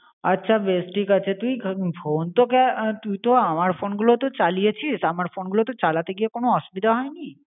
আছা বেশ ঠিক আছে তুই ফোন তো তুইতো আমার ফোনগুলো তো চালিয়ে ছিস. তা আমার ফোনগুলো চালাতে গিয়ে কোন অসুবিধে হয়নি.